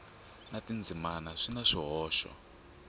na tindzimana swi na swihoxo